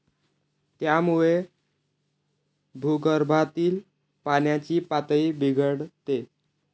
त्यामुळे भूगर्भातील पाण्याची पातळी बिघडते.